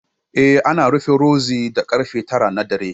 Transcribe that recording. Eh, ana rufe Rozi da karfe tara na dare